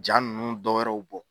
Jaa ninnu dɔwɛrɛw bɔ.